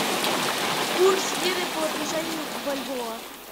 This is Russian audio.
курс лиры по отношению к бальбоа